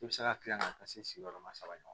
I bɛ se ka kila ka taa se sigiyɔrɔma saba ɲɔgɔn ma